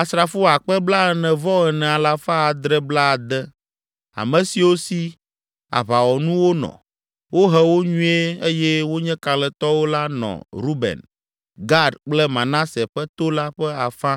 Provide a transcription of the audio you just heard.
Asrafo akpe blaene-vɔ-ene alafa adre blaade (44,760), ame siwo si aʋawɔnuwo nɔ, wohe wo nyuie eye wonye kalẽtɔwo la nɔ Ruben, Gad kple Manase ƒe to la ƒe afã